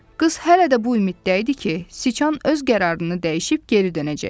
Qız hələ də bu ümiddə idi ki, sıçan öz qərarını dəyişib geri dönəcək.